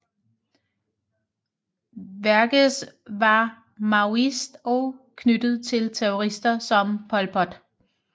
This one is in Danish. Vergès var maoist og knyttet til terrorister som Pol Pot